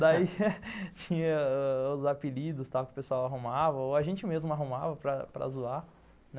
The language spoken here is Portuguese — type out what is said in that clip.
Daí tinha os ãh os apelidos que o pessoal arrumava, ou a gente mesmo arrumava para zoar.